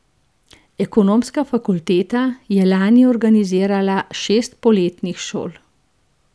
Ekonomska fakulteta je lani organizirala šest poletnih šol.